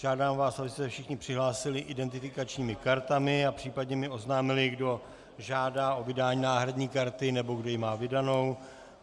Žádám vás, abyste se všichni přihlásili identifikačními kartami a případně mi oznámili, kdo žádá o vydání náhradní karty nebo kdo ji má vydanou.